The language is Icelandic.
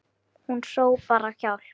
Hún hrópar á hjálp.